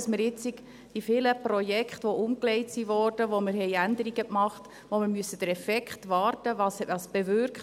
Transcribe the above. Wir müssen bei all diesen vielen Projekten, die umgelegt wurden, bei denen wir Änderungen vornahmen, auf den Effekt warten, darauf, was es bewirkt.